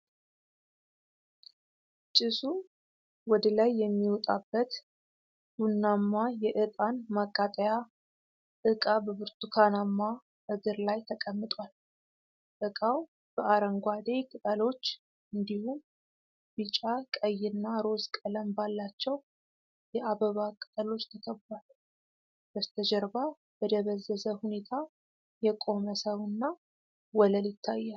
ጭሱ ወደ ላይ የሚወጣበት ቡናማ የእጣን ማቃጠያ ዕቃ በብርቱካናማ እግር ላይ ተቀምጧል። ዕቃው በአረንጓዴ ቅጠሎች፣ እንዲሁም ቢጫ፣ ቀይ እና ሮዝ ቀለም ባላቸው የአበባ ቅጠሎች ተከቧል። በስተጀርባ በደበዘዘ ሁኔታ የቆመ ሰው እና ወለል ይታያል።